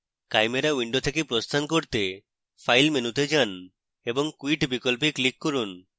chimera window থেকে প্রস্থান করতে file মেনুতে যান এবং quit বিকল্পে click করুন